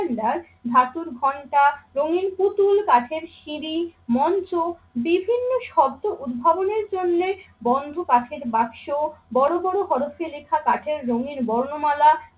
cylinder ধাতুর ঘন্টা, রঙিন পুতুল, কাঠের সিঁড়ি, মঞ্চ বিভিন্ন শব্দ উদ্ভাবনের জন্যে বন্ধ কাঠের বাক্স, বড় বড় হরফে লেখা কাঠের রঙিন বর্ণমালা,